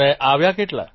અને આવ્યા કેટલા